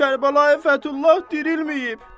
Kərbəlayi Fəthullah dirilməyib!